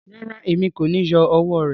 Rárá, èmi ko ni yọ ọwọ rẹ.